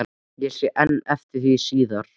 Ég sé enn eftir því síðar